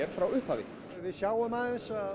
frá upphafi og við sjáum aðeins að